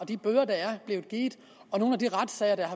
de bøder der er blevet givet og nogle af de retssager der